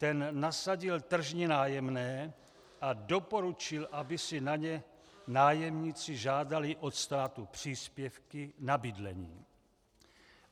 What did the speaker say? Ten nasadil tržní nájemné a doporučil, aby si na ně nájemníci žádali od státu příspěvky na bydlení.